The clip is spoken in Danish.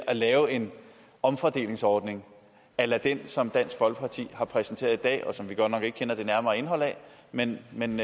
at lave en omfordelingsordning a la den som dansk folkeparti har præsenteret i dag og som vi godt nok ikke kender det nærmere indhold af men men